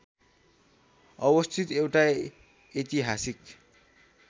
अवस्थित एउटा ऐतिहासिक